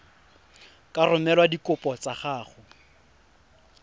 ka romela dikopo tsa gago